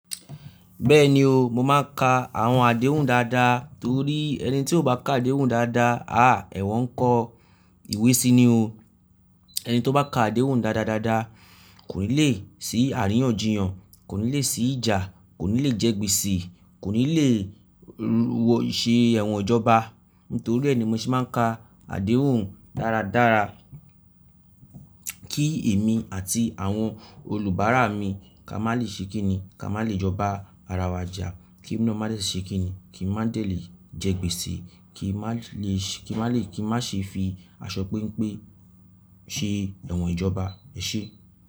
Bẹ́ẹ̀ni o, mo máa ń ka àwọn àdéhùn dáadáa torí ẹni tí ó bá ká àdéhùn dáadáa, à ẹ̀wọ̀n ńkọ́ ìwé sí i ni o. Ẹni tí ó bá ká àdéhùn dáadáa dáadáa kò ní le sí àríyànjiyàn, kò ní le sí ìjà, kò ní le jẹ́ gbèsè, kò ní le wọ ìṣe ẹ̀wọ̀n ìjọba. Nítorí ẹ ni mo ṣe máa ń ka àdéhùn dáradára kí èmi àti àwọn olùbárà mi ká má lè ṣe kíni, ká má lè jọba ara wa jà, kí èmi naa má dè ṣe kíni, kí n má dè le jẹ́ gbèsè, kí n má lè ṣe, kí n má ṣe fi aṣọ péńpé ṣe ẹ̀wọ̀n ìjọba ẹṣẹ.